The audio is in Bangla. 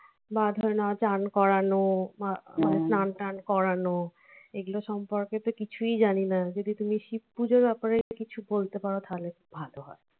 বা ধরে নাও স্নান করানো বা স্নান টান করানো এগুলো সম্পর্কে তো কিছুই জানিনা যদি তুমি শিবপুজোর ব্যাপারে কিছু বলতে পারো তাহলে ভাল হয়